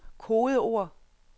kodeord